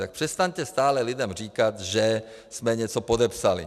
Tak přestaňte stále lidem říkat, že jsme něco podepsali.